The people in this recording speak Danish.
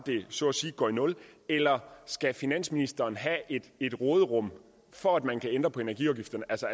så at sige går i nul eller skal finansministeren have et råderum for at man kan ændre på energiafgifterne altså